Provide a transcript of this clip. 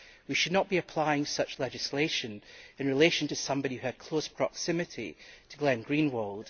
We should not be applying such legislation in relation to somebody who had close proximity to Glenn Greenwald.